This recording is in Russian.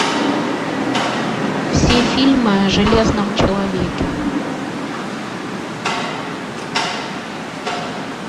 все фильмы о железном человеке